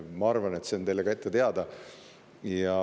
Ma arvan, et see on ka teile teada.